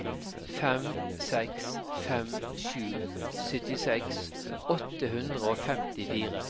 fem seks fem sju syttiseks åtte hundre og femtifire